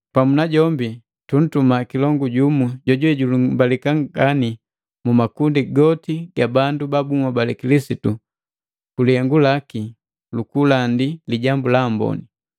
Pamu najombi, tuntuma kilongu jumu jojuwe jojulumbalika ngani mumakundi goti ga bandu ba bunhobale Kilisitu ku lihengu laki lukulandi Lijambu la Amboni.